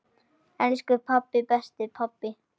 Elsku pabbi, besti pabbi.